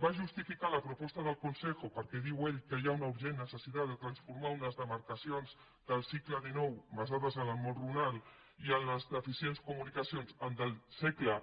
va justificar la proposta del consejo perquè diu ell que hi ha una urgent necessitat de transformar unes demarcacions del segle xix basades en el món rural i en les deficients comunicacions el segle